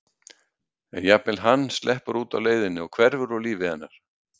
En jafnvel hann sleppur út á leiðinni og hverfur úr lífi hennar.